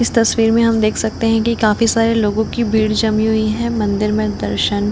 इस तस्वीर मे हम देख सकते हैकी काफी सारे लोगों की भीड़ जमी हुई है मदिर मे दर्शन--